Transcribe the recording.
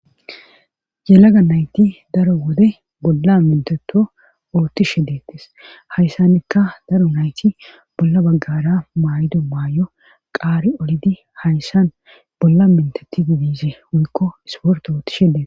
yelaga nayti daro wode bolla minteto oottishe deettes hayssanikka daro nayti bolla baggara maaydo maay7o qaari olidi hayssan bolla minteti didizi wuykko isporto oottishe dee